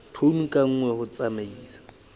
tone ka nngwe ho tsamaisa